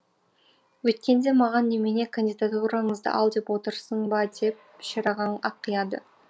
өйткенде маған немене кандидатураңызды ал деп отырсың ба деп шерағаң ақияды